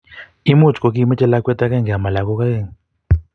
imuchi kokimechei lakwet akenge amo lakok aeng